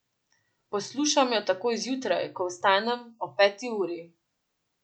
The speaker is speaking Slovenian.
Poslušam jo takoj zjutraj, ko vstanem, ob peti uri.